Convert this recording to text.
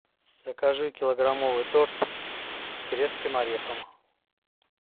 закажи килограммовый торт с грецким орехом